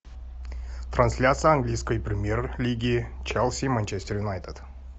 трансляция английской премьер лиги челси манчестер юнайтед